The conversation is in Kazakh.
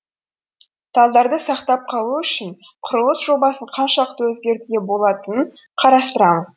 талдарды сақтап қалу үшін құрылыс жобасын қаншалықты өзгертуге болатынын қарастырамыз